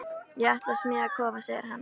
Ég ætla að smíða kofa segir hann.